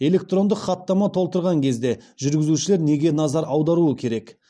электрондық хаттама толтырылған кезде жүргізушілер неге назар аудару керек